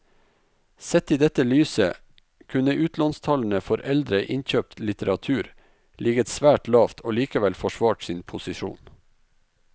Sett i dette lyset kunne utlånstallene for eldre innkjøpt litteratur ligget svært lavt og likevel forsvart sin posisjon.